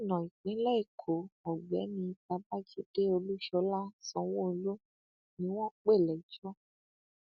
gómìnà ìpínlẹ èkó ọgbẹni babájídé olúṣọlá sanwóolu ni wọn pè lẹjọ